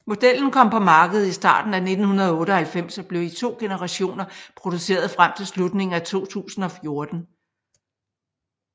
Modellen kom på markedet i starten af 1998 og blev i to generationer produceret frem til slutningen af 2014